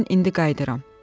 Mən indi qayıdıram.